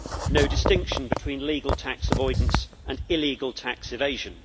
no distinction between legal tax avoidance and illegal tax evasion